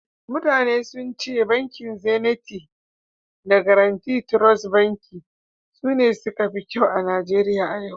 mutane sun ce bankin Zeniti da Gaaraunti Trost Bankin sune suka fi kyau a Najeriya a yau